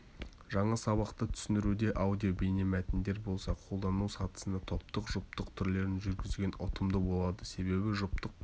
жаңа сабақты түсіндіруде аудио бейнемәтіндер болса қолдану сатысында топтық жұптық түрлерін жүргізген ұтымды болады себебі жұптық